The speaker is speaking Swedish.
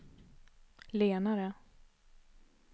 lenare